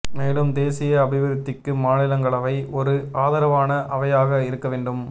மேலும் தேசிய அபிவிருத்திக்கு மாநிலங்களவை ஒரு ஆதரவான அவையாக இருக்க வேண்டும்